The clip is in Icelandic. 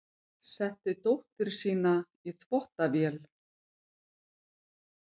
Setti dóttur sína í þvottavél